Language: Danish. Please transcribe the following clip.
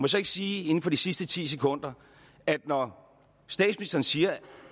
så ikke sige inden for de sidste ti sekunder at når statsministeren siger